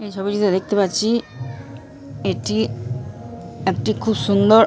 এই ছবিতে দেখতে পাচ্ছি এটি একটি খুব সুন্দর ।